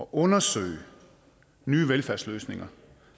undersøge nye velfærdsløsninger